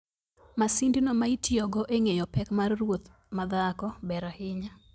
Masindno maitiyogo e ngeyo pek mar ruoth ma dhako ber ahinya.